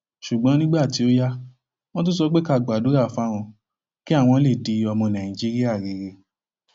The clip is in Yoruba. ṣùgbọn nígbà tó yá wọn tún sọ pé ká gbàdúrà fáwọn kí àwọn lè di ọmọ nàìjíríà rere